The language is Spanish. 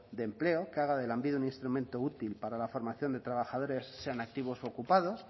de empleo que haga de lanbide un instrumento útil para la formación de trabajadores sean activos u ocupados